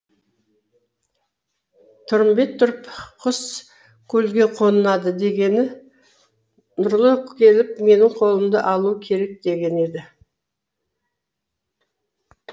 тұрмамбет тұрып құс көлге қонады дегені нұрлы келіп менің қолымды алуы керек дегені еді